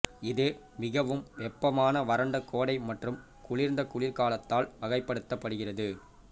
இது மிகவும் வெப்பமான வறண்ட கோடை மற்றும் குளிர்ந்த குளிர்காலத்தால் வகைப்படுத்தப்படுகிறது